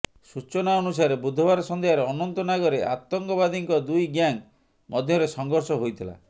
ସୂଚନା ଅନୁସାରେ ବୁଧବାର ସନ୍ଧ୍ୟାରେ ଅନନ୍ତନାଗରେ ଆତଙ୍କବାଦୀଙ୍କ ଦୁଇ ଗ୍ୟାଙ୍ଗ ମଧ୍ୟରେ ସଂଘର୍ଷ ହୋଇଥିଲା